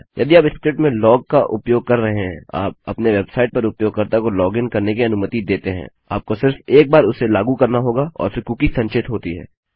यदि आप स्क्रिप्ट में लॉग का उपयोग कर रहे हैं और आप अपने वेबसाइट पर उपयोगकर्ता को लोगिन करने की अनुमति देते हैं आपको सिर्फ एक बार इसे लागू करना होगा और फिर कुकी संचित होती है